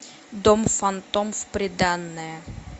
дом фантом в приданое